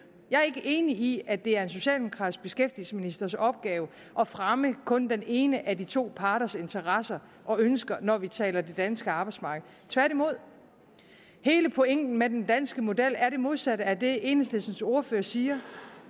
jeg er ikke enig i at det er en socialdemokratisk beskæftigelsesministers opgave at fremme kun den ene af de to parters interesser og ønsker når vi taler det danske arbejdsmarked tværtimod hele pointen med den danske model er det modsatte af det enhedslistens ordfører siger